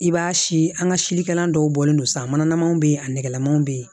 I b'a si an ka sikalan dɔw bɔlen don sa manamaw bɛ yen a nɛgɛ lanamanw bɛ yen